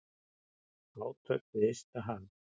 Átök við ysta haf.